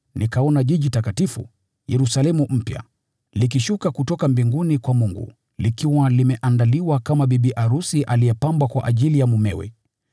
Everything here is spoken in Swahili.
Nikaona Mji Mtakatifu, Yerusalemu mpya, ukishuka kutoka mbinguni kwa Mungu, ukiwa umeandaliwa kama bibi arusi aliyepambwa kwa ajili ya mumewe.